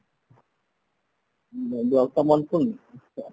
ତ ମନେ ପଡୁନି ଆଚ୍ଛା